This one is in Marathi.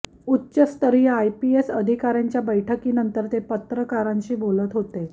उच्चस्तरीय आयपीएस अधिकार्यांच्या बैठकीनंतर ते पत्रकारांशी बोलत होते